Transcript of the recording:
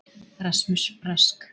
Rasmus Rask.